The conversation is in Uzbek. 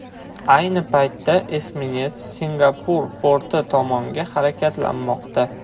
Ayni paytda esminets Singapur porti tomonga harakatlanmoqda.